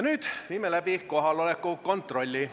Nüüd viime läbi kohaloleku kontrolli.